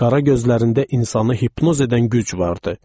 Qara gözlərində insanı hipnoz edən güc vardı.